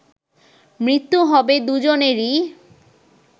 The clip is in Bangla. মৃত্যু হবে দু’জনেরই